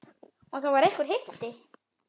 Og það var einhver hiti.